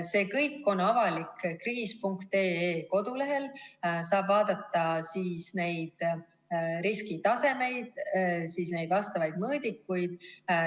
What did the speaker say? See kõik on avalik kriis.ee kodulehel, kust saab vaadata neid riskitasemeid, vastavaid mõõdikuid.